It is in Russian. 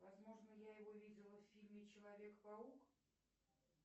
возможно я его видела в фильме человек паук